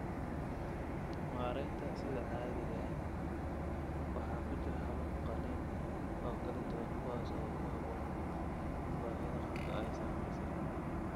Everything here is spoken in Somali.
Maareynta sida caadiga ah waxaa ku jira habab qalliin oo kala duwan kuwaas oo ku habboon baahida qofka ay saameysay.